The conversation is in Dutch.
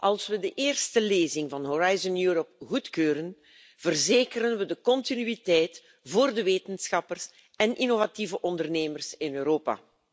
Als we de eerste lezing van Horizon Europa goedkeuren, verzekeren we de continuïteit voor de wetenschappers en innovatieve ondernemers in Europa.